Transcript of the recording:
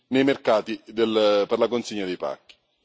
nei mercati per la consegna dei pacchi.